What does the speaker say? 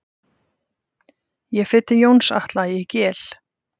Ég fer til Jóns Atla í Gel.